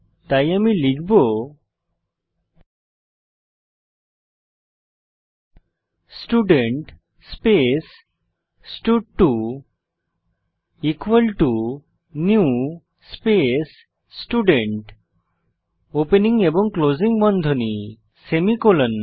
তাই আমি লিখব স্টুডেন্ট স্পেস স্টাড2 equal to new space student opening এবং ক্লোসিং বন্ধনী সেমিকোলন